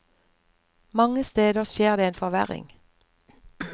Mange steder skjer det en forverring.